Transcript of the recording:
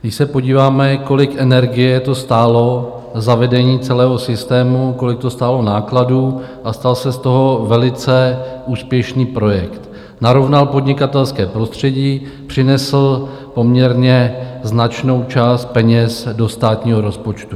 Když se podíváme, kolik energie to stálo zavedení celého systému, kolik to stálo nákladů a stal se z toho velice úspěšný projekt - narovnal podnikatelské prostředí, přinesl poměrně značnou část peněz do státního rozpočtu.